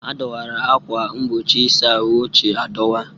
A dọwara akwa mgbochi ịsa ahụ ochie adọwa.